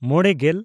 ᱢᱚᱬᱮᱼᱜᱮᱞ